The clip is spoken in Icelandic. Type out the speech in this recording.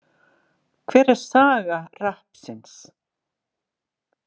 Hver er saga rappsins?